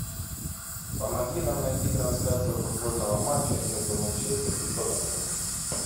помоги нам найти трансляцию футбольного матча между манчестер и тоттенхэм